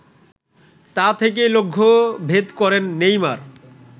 তা থেকেই লক্ষ্যভেদ করেন নেইমার